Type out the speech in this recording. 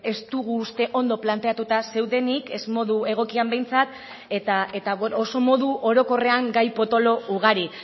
ez dugu uste ondo planteatuta zeudenik ez modu egokian behintzat eta oso modu orokorrean gai potolo ugari